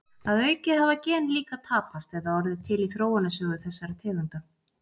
Að auki hafa gen líka tapast eða orðið til í þróunarsögu þessara tegunda.